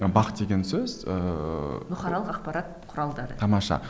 бақ деген сөз ыыы бұқаралық ақпарат құралдары тамаша